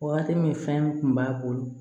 Waati min fɛn kun b'a bolo